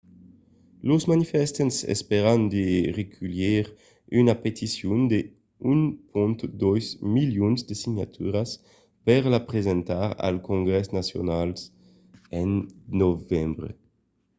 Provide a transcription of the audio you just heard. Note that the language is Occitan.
los manifestants espèran de reculhir una peticion de 1,2 milions de signaturas per la presentar al congrès nacional en novembre